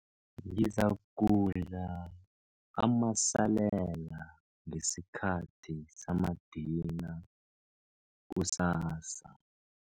Ngizakudla amasalela ngesikhathi samadina kusasa.